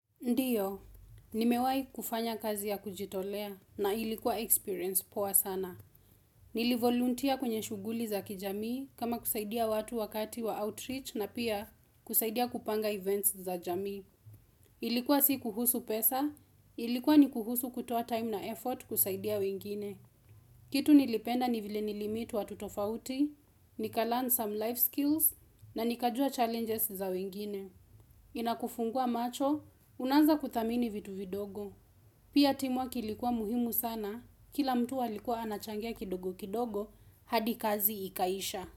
Ndiyo, nimewai kufanya kazi ya kujitolea na ilikuwa experience poa sana. Nilivoluntia kwenye shughuli za kijamii kama kusaidia watu wakati wa outreach na pia kusaidia kupanga events za jamii. Ilikuwa si kuhusu pesa, ilikuwa ni kuhusu kutoa time na effort kusaidia wengine. Kitu nilipenda ni vile nilimeet watu tofauti, nikalearn some life skills na nikajua challenges za wengine. Inakufungua macho, unaanza kuthamini vitu vidogo. Pia team work ilikuwa muhimu sana, kila mtu alikuwa anachangia kidogo kidogo, hadi kazi ikaisha.